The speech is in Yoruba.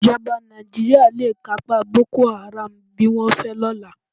Ìjọba Nàìjíríà le kápá Boko Haram bí wọ́n fẹ́ lọ́la.